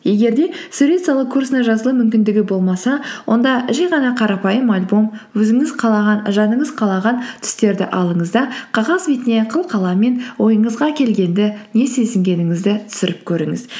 егер де сурет салу курсына жазылу мүмкіндігі болмаса онда жай ғана қарапайым альбом өзіңіз қалаған жаныңыз қалаған түстерді алыңыз да қағаз бетіне қылқаламмен ойыңызға келгенді не сезінгеніңізді түсіріп көріңіз